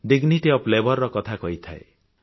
dignity of labour ର କଥା କହିଥାଏ